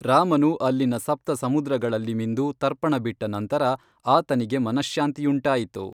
ರಾಮನು ಅಲ್ಲಿನ ಸಪ್ತಸಮುದ್ರಗಳಲ್ಲಿ ಮಿಂದು ತರ್ಪಣಬಿಟ್ಟ ನಂತರ ಆತನಿಗೆ ಮನಶ್ಶಾಂತಿಯುಂಟಾಯಿತು